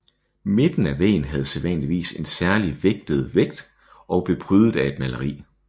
Midten af væggen havde sædvanligvis en særlig vægt og blev prydet af et maleri